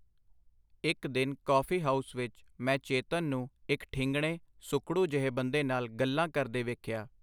ਇਕ ਦਿਨ coffee house ਵਿਚ ਮੈਂ ਚੇਤਨ ਨੂੰ ਇਕ ਠਿੰਗਣੇਂ, ਸੁਕੜੂ ਜਹੇ ਬੰਦੇ ਨਾਲ ਗੱਲਾਂ ਕਰਦੇ ਵੇਖਿਆ.